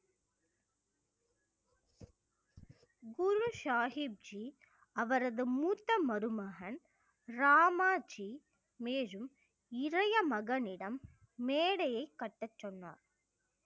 குரு சாகிப்ஜி அவரது மூத்த மருமகன் ராமாஜி மேலும் இளைய மகனிடம் மேடையைக் கட்டச் சொன்னார்